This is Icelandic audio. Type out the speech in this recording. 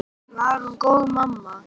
Var hún góð mamma?